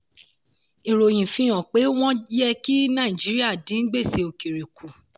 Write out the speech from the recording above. ìròyìn fi hàn pé wọ́n yẹ kí nàìjíríà dín gbèsè òkèrè kù.